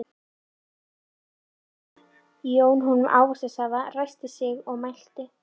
Jón honum ávaxtasafa, ræskti sig síðan og mælti